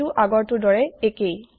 এইটো আগৰ টোৰ দৰে একেই